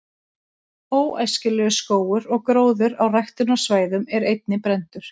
„óæskilegur“ skógur og gróður á ræktunarsvæðum er einnig brenndur